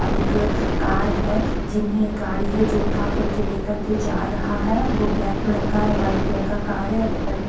और एक कार है जिन्हें गाड़ी है जो उठाकर के लेकर के जा रहा है वो ब्लैक कलर का वाइट कलर का कार है बगल में--